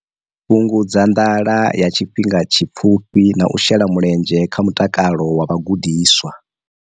Fhungudza nḓala ya tshifhinga tshipfufhi na u shela mulenzhe kha mutakalo wa vhagudiswa.